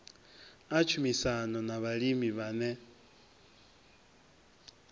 a tshumisano na vhalimi vhane